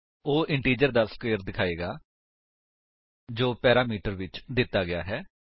ਉਹ ਇੰਟਿਜਰ ਦਾ ਸਕਵੇਰ ਦਿਖਾਏਗਾ ਜੋ ਪੈਰਾਮੀਟਰ ਵਿੱਚ ਦਿੱਤਾ ਗਿਆ ਹੈ